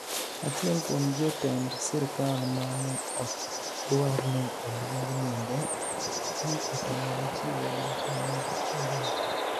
Achiel kuom jotenid sirkal ma ni e ok dwar nii oluonig niyinige, ni e otamore chiwo dwoko mar penijono.